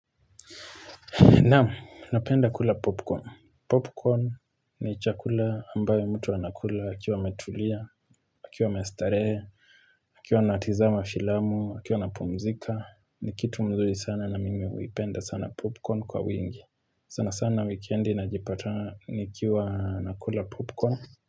Naam, napenda kula popcorn. Popcorn ni chakula ambayo mtu anakula akiwa ametulia, akiwa amestare, akiwa natizama filamu, akiwa napumzika. Nikitu mzuri sana na mimi uipenda sana popcorn kwa wingi. Sana sana weekendi na jipata nikiwa nakula popcorn.